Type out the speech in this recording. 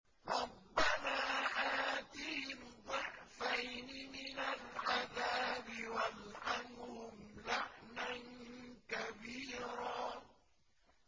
رَبَّنَا آتِهِمْ ضِعْفَيْنِ مِنَ الْعَذَابِ وَالْعَنْهُمْ لَعْنًا كَبِيرًا